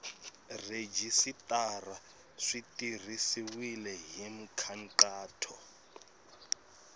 rhejisitara swi tirhisiwile hi nkhaqato